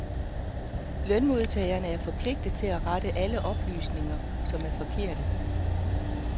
Lønmodtagerne er forpligtiget til at rette alle oplysninger, som er forkerte.